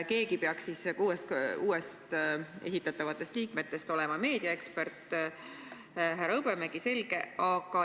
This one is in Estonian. Keegi peaks uuest liikmetest olema meediaekspert – härra Hõbemägi, selge.